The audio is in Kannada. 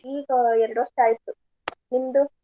ಈಗ ಎರ್ಡ್ ವರ್ಷ ಆಯ್ತು. ನಿಮ್ದು?